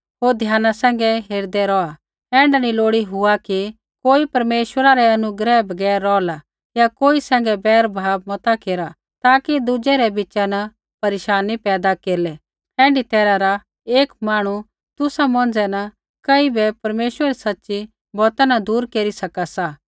होर ध्याना सैंघै हेरदै रौहा ऐण्ढा नी लोड़ी हुआ कि कोई परमेश्वर रै अनुग्रह बगैर रौहला या कोई सैंघै बैरभाव मता केरा ताकि दुज़ै रै बिच़ा न परेशानी पैदा केरलै ऐण्ढी तैरहा रा एक मांहणु तुसा मौंझ़ै न कई बै परमेश्वरा री सच़ी बौता न दूर केरी सका सा